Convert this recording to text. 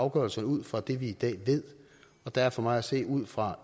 afgørelserne ud fra det vi i dag ved og der er for mig at se ud fra